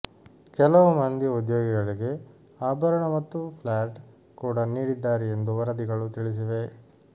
ಕೆಲವು ಮಂದಿ ಉದ್ಯೋಗಿಗಳಿಗೆ ಆಭರಣ ಮತ್ತು ಫ್ಲ್ಯಾಟ್ ಕೂಡ ನೀಡಿದ್ದಾರೆ ಎಂದು ವರದಿಗಳು ತಿಳಿಸಿವೆ